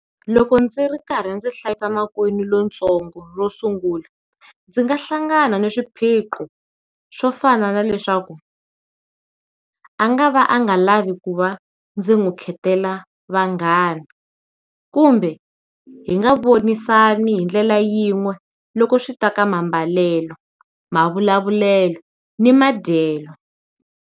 Loko ndzi ri karhi ndzi hlayisa makwenu lontsongo ro sungula ndzi nga hlangana na swiphiqo swo fana na leswaku a nga va a nga lavi ku va ndzi n'wi kheketela vanghana, kumbe hi nga vonisani hi ndlela yin'we loko swi ta ka mambalelo mavulavulelo ni madyelo.